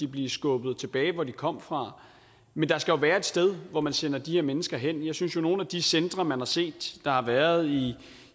blive skubbet tilbage til hvor de kom fra men der skal være et sted hvor man sender de her mennesker hen jeg synes jo at nogle af de centre man har set der har været